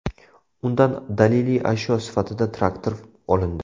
Undan daliliy ashyo sifatida traktor olindi.